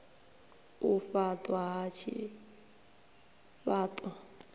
u faṱwa ha tshifha ṱo